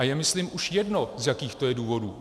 A je myslím už jedno, z jakých to je důvodů.